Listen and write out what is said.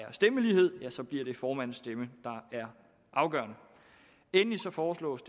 er stemmelighed og ja så bliver det formandens stemme der er afgørende endelig foreslås